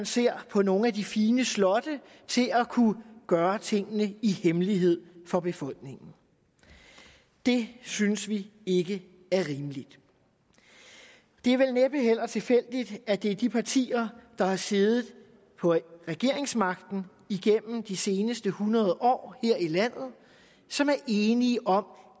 ser på nogle af de fine slotte og til at kunne gøre tingene i hemmelighed for befolkningen det synes vi ikke er rimeligt det er vel næppe heller tilfældigt at det er de partier der har siddet på regeringsmagten igennem de seneste hundrede år her i landet som er enige om